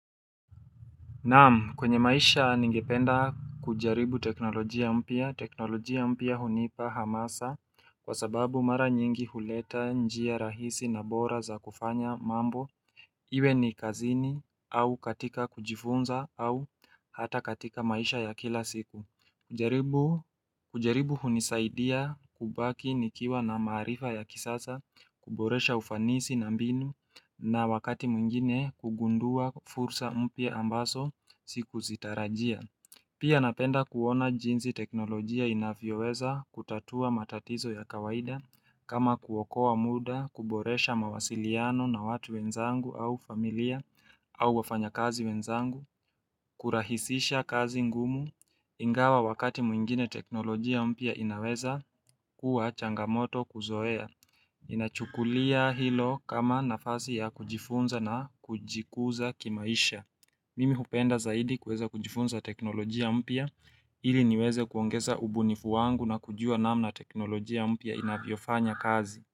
Naam kwenye maisha ningependa kujaribu teknolojia mpya teknolojia mpya hunipa hamasa kwa sababu mara nyingi huleta njia rahisi na bora za kufanya mambo Iwe ni kazini au katika kujifunza au hata katika maisha ya kila siku kujaribu hunisaidia kubaki nikiwa na maarifa ya kisasa kuboresha ufanisi na mbinu na wakati mwingine kugundua fursa mpya ambaso sikuzitarajia Pia napenda kuona jinsi teknolojia inavyoweza kutatua matatizo ya kawaida kama kuokoa muda kuboresha mawasiliano na watu wenzangu au familia au wafanyakazi wenzangu kurahisisha kazi ngumu ingawa wakati mwingine teknolojia mpya inaweza kuwa changamoto kuzoea Inachukulia hilo kama nafasi ya kujifunza na kujikuza kimaisha Mimi hupenda zaidi kuweza kujifunza teknolojia mpya ili niweze kuongeza ubunifu wangu na kujua namna teknolojia mpya inavyofanya kazi.